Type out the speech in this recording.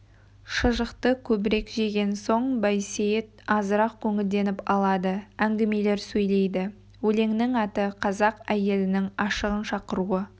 шұжықты көбірек жеген соң байсейіт азырақ көңілденіп алады әңгімелер сөйлейді өлеңнің аты қазақ әйелінің ашығын шақыруы